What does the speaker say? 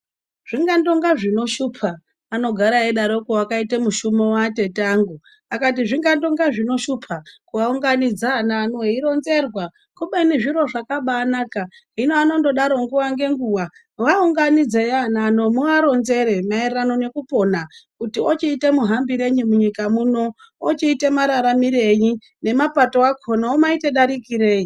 Zvingandonga zvinoshupa anogara eyidaroko wakaita mushumo watete angu akati zvingandonga zvinoshupa kuaunganidza ana ano weironzerwa kubeni zviro zvakabanaka. Hino andongodaro nguwa ngenguwa, vaunganidzei ana ano muvaronzere mayererano nekupona kuti ochiita muhambirei munyika muno. Ochiita mararamirei nemapato akona omayita darikirei.